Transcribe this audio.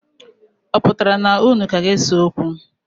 Ọ pụtara na unu ka ga-ese okwu?